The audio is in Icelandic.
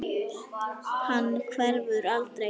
Hann hverfur aldrei.